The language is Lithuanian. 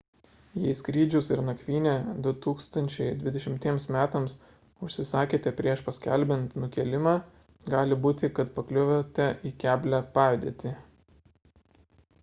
jei skrydžius ir nakvynę 2020 metams užsisakėte prieš paskelbiant nukėlimą gali būti kad pakliuvote į keblią padėtį